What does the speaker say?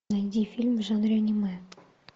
найди фильм в жанре аниме